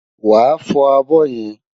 Wàá fọ abọ́ yẹn!